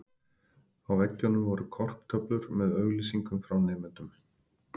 Á veggjunum voru korktöflur með auglýsingum frá nemendum.